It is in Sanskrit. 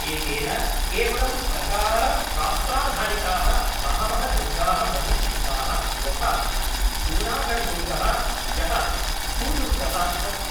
एतेन केवलं प्रकारशास्त्राधारिताः बहवः दुर्गाः बहिष्कृताः यथा जूनागढ़दुर्गः यः भूदुर्गः अस्ति।